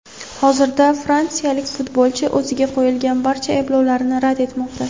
Hozirda fransiyalik futbolchi o‘ziga qo‘yilgan barcha ayblovlarni rad etmoqda.